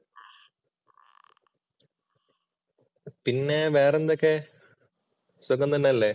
പിന്നെ വേറെ എന്തൊക്കെ, സുഖം തന്നെയല്ലേ?